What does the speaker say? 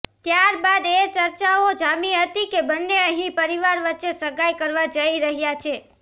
ત્યારબાદ એ ચર્ચાઓ જામી હતી કે બંને અહીં પરિવાર વચ્ચે સગાઇ કરવા જઇ રહ્યા છે